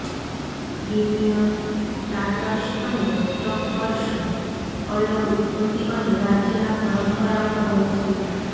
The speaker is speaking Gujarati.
ક્રિમિઅન ટાટાર્સ અને ટર્ક્સ અલગ ઉત્પત્તિ અને રાજ્યના પરંપરાઓ હોય છે